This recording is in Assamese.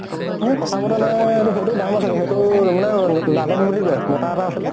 সেই কথা বতৰা নাই । সেইতোৰ দাম আছিল, সেইতোৰ মানে লাদেন বুলি কয়, মতা এটা আছিলে ।